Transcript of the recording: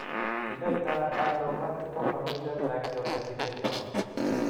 Kinaitano multiple familial trichoepithelioma?